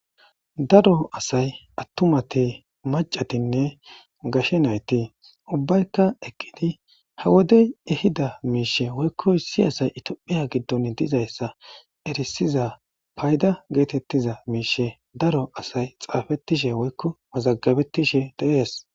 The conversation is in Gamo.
Daro asay attumati macatinne gashe nayti ubbaykka eqqidi ha wodey ehida miishe woykkoy si asay itophiya giddon dizayssa erisiza payda geetettiza miishe daro asay xaafettishe woykko mazagabettishe deees.